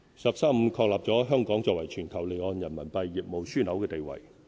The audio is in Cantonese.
"十三五"確立了香港作為全球離岸人民幣業務樞紐的地位。